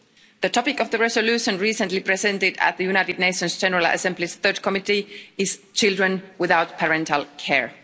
The topic of the resolution recently presented at the United Nations General Assembly Third Committee is children without parental care.